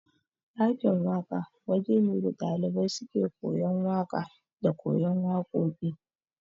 Ɗakin waka waje ne da ɗalibai suke koyan waƙa da kayan waƙoƙi